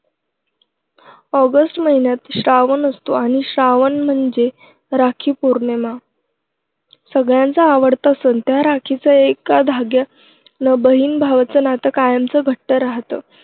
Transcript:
August महिन्यात श्रावण असतो आणि श्रावण म्हणजे राखी पौर्णिमा. सगळ्यांचा आवडता सण त्या राखीच्या एका धाग्यानं बहीण भावाचं नातं कायमचं घट्ट राहतं.